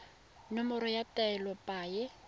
nomoro ya taelo ya paye